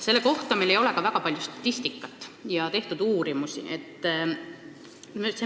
Selle kohta ei ole meil ka väga palju statistikat ega uurimusi.